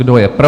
Kdo je pro?